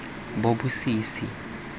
bobosisi